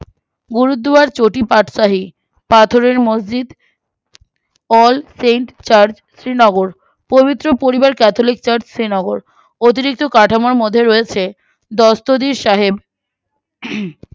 গুরুদোয়ার চটিপাঠশাহী পাথরের মসজিদ All saints church Srinagar পবিত্র পরিবার catholic church শ্রীনগর অতিরিক্ত কাঠামোর মধ্যে রয়েছে দস্তদীর সাহেব হম